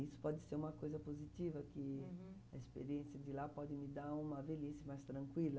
Isso pode ser uma coisa positiva, que uhum a experiência de lá pode me dar uma velhice mais tranquila.